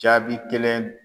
Jaabi kelen